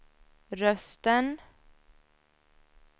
rösten